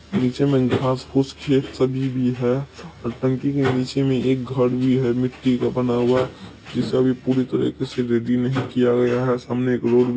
नीचे में घास फूस खेत सभी भी है और टंकी के नीचे में एक घर भी है मिट्टी का बना हुआ जिसे अभी पूरी तरीके से रेडी नहीं किया गया है सामने एक रोड है।